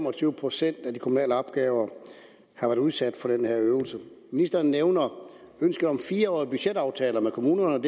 og tyve procent af de kommunale opgaver har været udsat for den her øvelse ministeren nævner ønsket om fire årige budgetaftaler med kommunerne